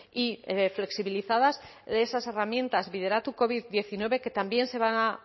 y flexibilizadas esas herramientas bideratu covid diecinueve que también se van a